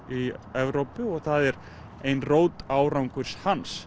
í Evrópu og það er ein rót árangurs hans